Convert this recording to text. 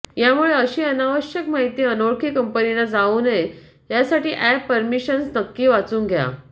यामुळे अशी अनावश्यक माहिती अनोळखी कंपनींना जाऊ नये यासाठी अॅप परमिशन्स नक्की वाचून घ्या